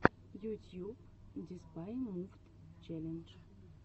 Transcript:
ютьюб деспай мувд челлендж